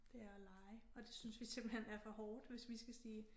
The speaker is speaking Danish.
Det er at lege og det synes vi simpelthen er for hårdt hvis vi skal sige